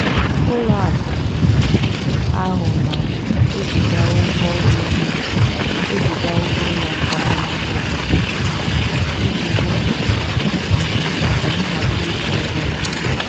ụlọakụ um ahụ na-eziga ụgwọ ụlọ na-eziga ụgwọ ụlọ kwa ọnwa n'ụbọchị mbụ iji hụ um maka nhazi ịkwụ ụgwọ n'oge.